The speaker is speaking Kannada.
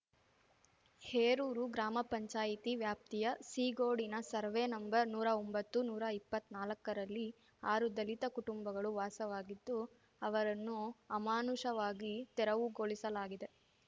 ಹೇರೂರು ಗ್ರಾಮ ಪಂಚಾಯ್ತಿ ವ್ಯಾಪ್ತಿಯ ಸೀಗೋಡಿನ ಸರ್ವೆ ನಂಬರ್‌ ನೂರಾ ಒಂಬತ್ತು ನೂರಾ ಇಪ್ಪತ್ನಾಲ್ಕ ರಲ್ಲಿ ಆರು ದಲಿತ ಕುಟುಂಬಗಳು ವಾಸವಾಗಿದ್ದು ಅವರನ್ನು ಅಮಾನುಷವಾಗಿ ತೆರವುಗೊಳಿಸಲಾಗಿದೆ